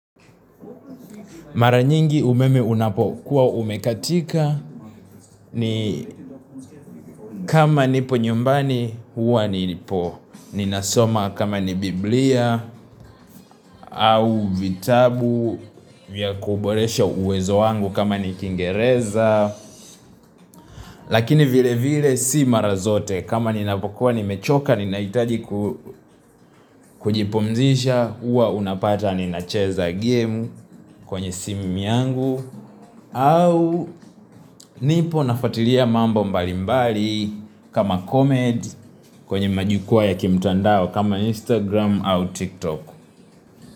Mara nyingi umeme unapokuwa umekatika ni kama nipo nyumbani huwa ni nipo. Ninasoma kama ni biblia au vitabu, vya kuboresha uwezo wangu kama ni kingereza. Lakini vile vile si mara zote kama ninapokuwa nimechoka ni nahitaji kujipumzisha huwa unapata ni nacheza game kwenye simu yangu. Au nipo nafatilia mambo mbali mbali kama comedy kwenye majukua ya kimtandao kama instagram au tiktok.